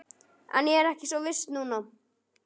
En ég er ekki svo viss núna